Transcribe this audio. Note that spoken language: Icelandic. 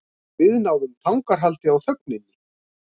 Við náðum tangarhaldi á þögninni.